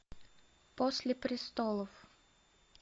после престолов